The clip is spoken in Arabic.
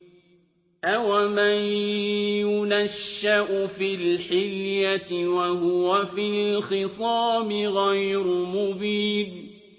أَوَمَن يُنَشَّأُ فِي الْحِلْيَةِ وَهُوَ فِي الْخِصَامِ غَيْرُ مُبِينٍ